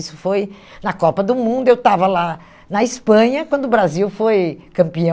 Isso foi na Copa do Mundo, eu estava lá na Espanha, quando o Brasil foi campeão